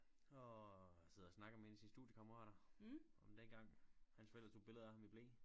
Og sidder og snakker med en af sine studiekammerater om dengang hans forældre tog et billede af ham i ble